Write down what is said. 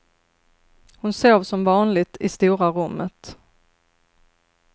Hon sov som vanligt i stora rummet.